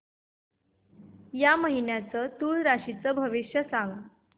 या महिन्याचं तूळ राशीचं भविष्य सांग